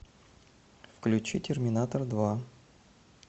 включи терминатор два